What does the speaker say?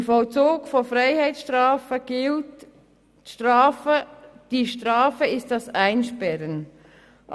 Im Vollzug von Freiheitsstrafen gilt, dass die Strafe das Einsperren ist.